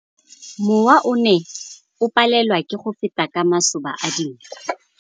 Mowa o ne o palelwa ke go feta ka masoba a dinko.